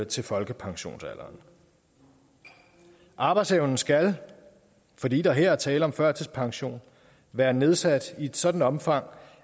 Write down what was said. til folkepensionsalderen arbejdsevnen skal fordi der her er tale om førtidspension være nedsat i et sådan omfang